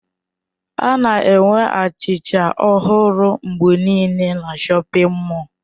A na-enwe achịcha ọhụrụ mgbe niile na shọpin mọll.